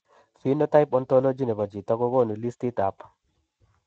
Phenotype Ontology nebo chito kogonu listitab